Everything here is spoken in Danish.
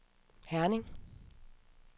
Herning